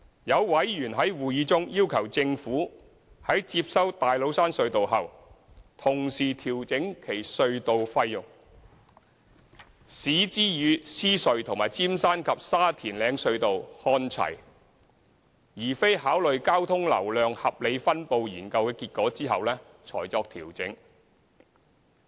有委員在會議中要求政府，在接收大老山隧道後，同時調整其隧道費，使之與獅隧和尖山及沙田嶺隧道看齊，而非考慮交通流量合理分布研究的結果後才作調整。